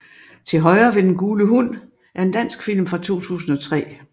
Til højre ved den gule hund er en dansk film fra 2003